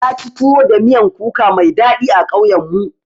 Naci tuwo da miyan kuka mai daɗi a ƙauyen mu.